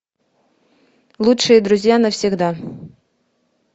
лучшие друзья навсегда